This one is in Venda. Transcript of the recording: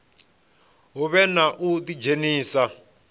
hu vhe na u ḓidzhenisa